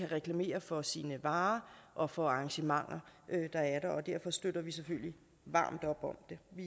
reklamere for sine varer og for arrangementer der er der og derfor støtter vi selvfølgelig varmt op om det vi